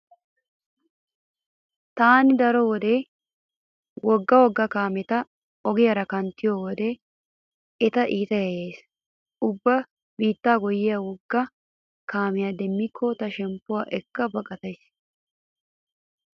Taani daro wode wogga wogga kaameti ogiyaara kanttiyo wode eta iita yayyays. Ubba biittaa goyyiya wogga kaamiya demmikko ta shemppiyo ekka baqatays.